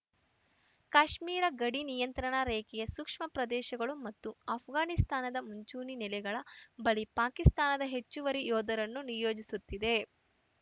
ಕಾಶ್ಮೀರ ಗಡಿ ನಿಯಂತ್ರಣ ರೇಖೆಯ ಸೂಕ್ಷ್ಮ ಪ್ರದೇಶಗಳು ಮತ್ತು ಆಷ್ಘಾನಿಸ್ತಾನದ ಮುಂಚೂಣಿ ನೆಲೆಗಳ ಬಳಿ ಪಾಕಿಸ್ತಾನ ಹೆಚ್ಚುವರಿ ಯೋಧರನ್ನು ನಿಯೋಜಿಸುತ್ತಿದೆ